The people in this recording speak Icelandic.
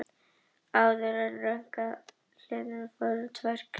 Áður en röðin kom að mér í hliðinu fóru að renna á mig tvær grímur.